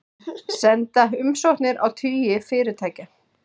Senda umsóknir á tugi fyrirtækja